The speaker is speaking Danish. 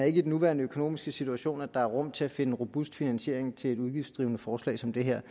i den nuværende økonomiske situation er rum til at finde en robust finansiering til et udgiftsdrivende forslag som det her